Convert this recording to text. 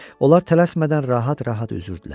Onlar tələsmədən rahat-rahat üzürdülər.